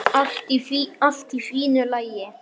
Allt í svo fínu lagi.